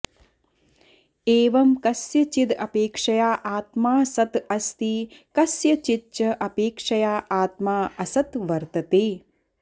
एवं कस्यचिद अपेक्षया आत्मा सत् अस्ति कस्यचिच्च अपेक्षया आत्मा असत् वर्तते